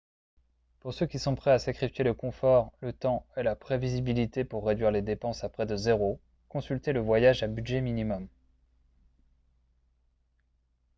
pour ceux qui sont prêts à sacrifier le confort le temps et la prévisibilité pour réduire les dépenses à près de zéro consultez le voyage à budget minimum